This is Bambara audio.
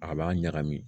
A b'a ɲagami